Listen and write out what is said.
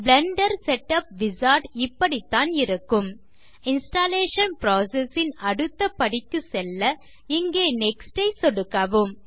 Blender setup wizard இப்படிதான் இருக்கும் installation process ன் அடுத்த படிக்கு செல்ல இங்கே நெக்ஸ்ட் ஐ சொடுக்கவும்